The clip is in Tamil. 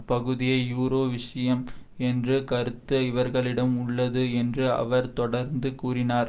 பகுதியே யூரோ விஷயம் என்று கருத்து இவர்களிடம் உள்ளது என்று அவர் தொடர்ந்து கூறினார்